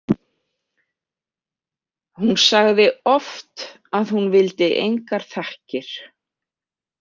Hún sagði oft að hún vildi engar þakkir.